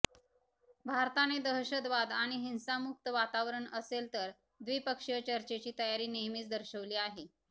भारताने दहशतवाद आणि हिंसामुक्त वातावरण असेल तर द्विपक्षीय चर्चेची तयारी नेहमीच दर्शवली आहे